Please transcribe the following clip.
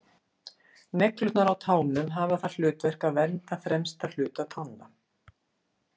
Neglurnar á tánum hafa það hlutverk að vernda fremsta hluta tánna.